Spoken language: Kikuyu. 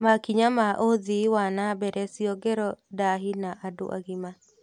Makinya ma ũthii wana mbere ciongero ndahi na andũ agima